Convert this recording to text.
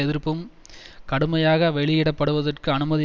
எதிர்ப்பும் கடுமையாக வெளியிடப்படுவதற்கு அனுமதி